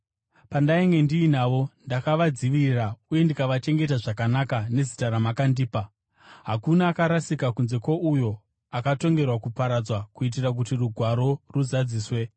Pandainge ndiinavo, ndakavadzivirira uye ndikavachengeta zvakanaka nezita ramakandipa. Hakuna akarasika kunze kwouyo akatongerwa kuparadzwa kuitira kuti Rugwaro ruzadziswe.